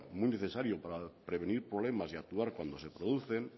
muy necesario para prevenir problemas y actuar cuando se producen